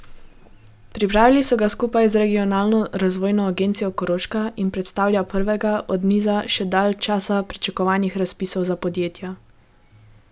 Pripravili so ga skupaj z Regionalno razvojno agencijo Koroška in predstavlja prvega od niza že dalj časa pričakovanih razpisov za podjetja.